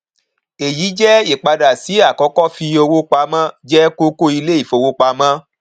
èyí jẹ ìpadà sí àkọkọ fífi owó pamọ jẹ kókó ilé ìfowópamọ